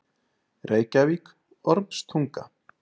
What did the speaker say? Reykjavík: Ormstunga.